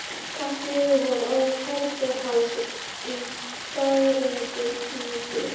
Kannski yrði hún orðin kærastan hans í dagrenningu.